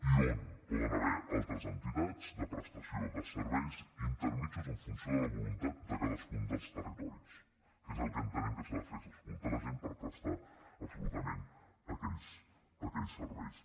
i on hi poden haver altres entitats de prestació de serveis intermedis en funció de la voluntat de cadascun dels territoris que és el que entenem que s’ha de fer que és escoltar la gent per prestar absolutament aquells serveis